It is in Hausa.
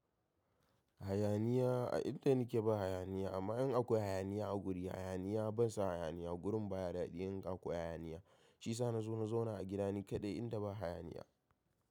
Hayaniya, a inda nike ba hayaniya amma in akwai hayaniya a guri, hayaniya ban son hayaniya. Gurin baya daɗi in ka koya hayaniya. Shi sa na zo na zauna a gida ni kaɗai inda ba hayaniya.